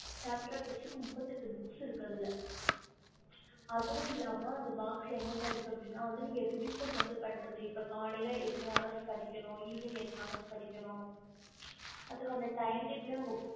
separate பிரிச்சி நுப்பதி எட்டு book இருக்கு அதால அதுவோம் இல்ல ம அந்த box என்ன இருக்குன்னு நீங்க revision எப்படி பண்றது கலையால எத்தனை hour படிக்கணும் evening எத்தனை hour படிக்கணும் time tebul